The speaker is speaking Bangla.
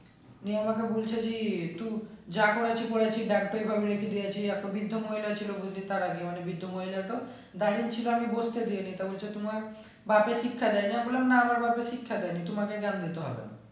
নিয়ে আমাকে বলছে যে একটু যা করেছি করেছি একটা বৃদ্ধ মহিলা ছিল বুঝলি তার কাছে মানে বৃদ্ধ মহিলাটাও দাঁড়িয়ে ছিল আমি বসতে দি নি তা হচ্ছে তোমার বাপে শিক্ষা দেয় নি আমি বললাম না না বাপে শিক্ষা দেয় নি তোমাকে জ্ঞান দিতে হবে না